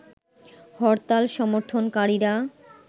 হরতাল সমর্থন কারীরা